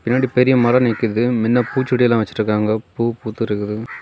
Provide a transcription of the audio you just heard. பின்னாடி பெரிய மரம் நிக்குது. மின்ன பூச்செடியெல்லா வச்சிருக்காங்க. பூ பூத்திருக்குது.